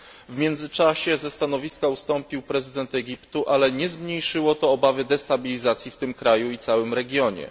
W międzyczasie ze stanowiska ustąpił prezydent Egiptu, ale nie zmniejszyło to obawy destabilizacji w tym kraju i całym regionie.